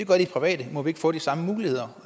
gør de private må vi ikke få de samme muligheder